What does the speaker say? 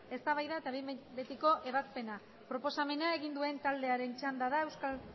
eztabaida eta behin betiko ebazpena proposamena egin duen taldearen txanda da euskal